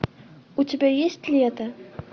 у тебя есть лето